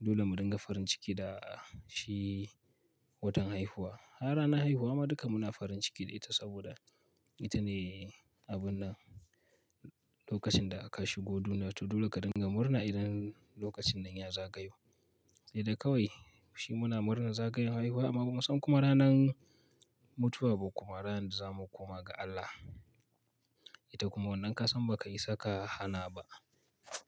dole mu dinga farin ciki da shi watan haihuwa. A ranar haihuwa ma duka muna farin ciki da ita saboda ita ne abun nan lokacin da aka shigo duniya to dole ka dinga murna idan lokacin nan ya zagayo. Sai dai kawai shi muna murnan zagayan haihuwa amma kuma san kuma ranan mutuwa ba kuma ranar da zamu koma ga Allah. Ita kuma wannan ka san ba ka isa ka hana ba.